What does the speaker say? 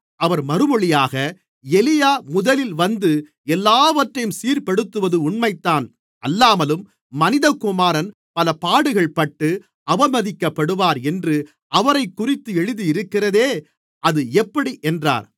அவர் மறுமொழியாக எலியா முதலில் வந்து எல்லாவற்றையும் சீர்ப்படுத்துவது உண்மைதான் அல்லாமலும் மனிதகுமாரன் பல பாடுகள்பட்டு அவமதிக்கப்படுவார் என்று அவரைக்குறித்து எழுதியிருக்கிறதே அது எப்படி என்றார்